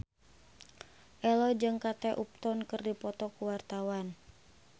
Ello jeung Kate Upton keur dipoto ku wartawan